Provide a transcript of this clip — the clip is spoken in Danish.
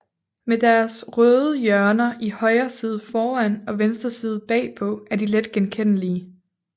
Med deres røde hjørner i højre side foran og venstre side bagpå er de let genkendelige